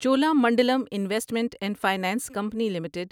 Cholamandalam investment and finance company limited